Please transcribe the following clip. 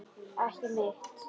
Ekki mitt.